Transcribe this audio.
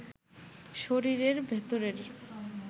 শরীরের ভেতরের